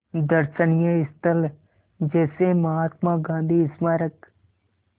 दर्शनीय स्थल जैसे महात्मा गांधी स्मारक